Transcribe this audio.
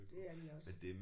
Det er de også